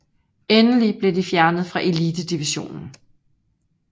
Endelig blev de fjernet fra elitedivisionen